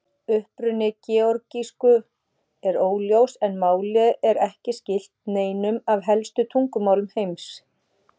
Uppruni georgísku er óljós en málið er ekki skylt neinum af helstu tungumálum heims.